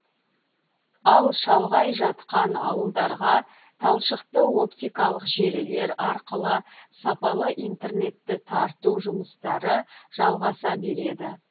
ал шалғай жатқан ауылдарға талшықты оптикалық желілер арқылы сапалы интернетті тарту жұмыстары жалғаса береді